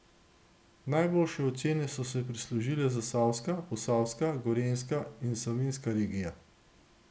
Najboljše ocene so si prislužile zasavska, posavska, gorenjska in savinjska regija.